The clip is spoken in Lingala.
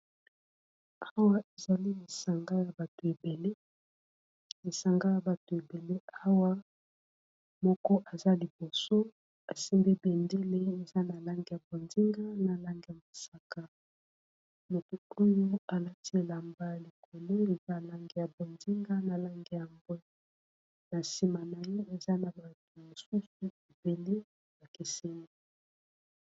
Oyo ezali lisanga ya bato ebele, lisanga ya bato ebele awa moko aza liboso asimbi bendele eza na langi ya bonzenga na langi ya mosaka, moto oyo alati elamba likolo eza langi ya bonzinga na langi ya mbwe na nsima na ye eza na batu mosusu ebele ba keseni.